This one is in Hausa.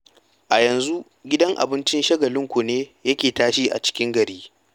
A yanzu gidan abincin Shagalinku ne yake tashe a cikin gari.